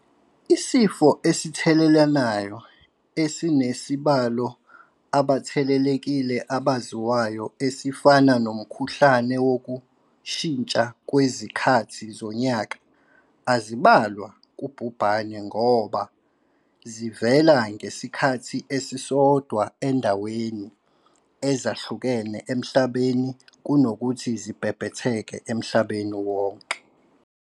Isifo esithelelanayo esinesibalo abathelelekile abaziwayo esifana nomkhuhlane wokushintsha kwezikhathi zonyaka azibalwa kubhubhane ngoba zivela ngesikhathi esisodwa ezindaweni ezahlukene emhlabeni kunokuthi zibhebhetheke emhlabeni wonke.